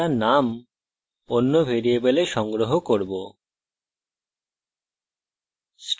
আমরা name অন্য ভ্যারিয়েবলে সংগ্রহ করব